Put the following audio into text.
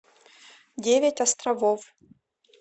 девять островов